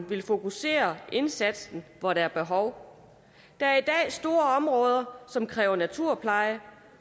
vil fokusere indsatsen hvor der er behov der er i dag store områder som kræver naturpleje